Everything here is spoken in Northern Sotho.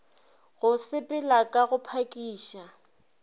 go sepela ka go phakiša